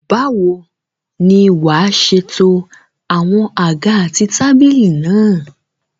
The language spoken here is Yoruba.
Báwo ni wàá ṣe to àwọn àga àti tábìlì náà?